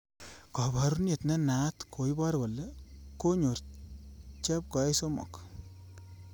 Kaborunet ne naat koibor kole konyor chepkoech somok